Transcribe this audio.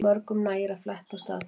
Mörgum nægir að fletta og staðfesta